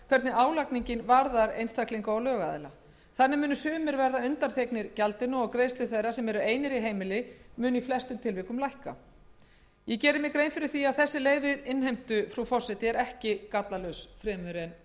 hvernig álagningin varðar einstaklinga og lögaðila þannig munu sumir verða undanþegnir gjaldinu og greiðslur þeirra sem eru einir í heimili munu í flestum tilvikum lækka ég geri mér grein fyrir því að þessi leið við innheimtu frú forseti er ekki gallalaus fremur